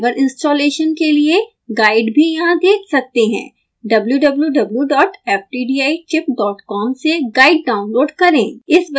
आप driver installation के लिए गाइड भी यहाँ देख सकते हैं wwwftdichipcom से गाइड डाउनलोड करें